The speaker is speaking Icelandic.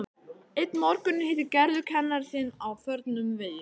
Einn morguninn hittir Gerður kennara sinn á förnum vegi.